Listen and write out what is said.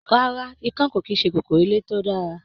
Ràrá, ikan ko kìí ṣe kòkòrò ilé to dára.